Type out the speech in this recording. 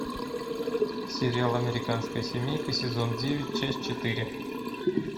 сериал американская семейка сезон девять часть четыре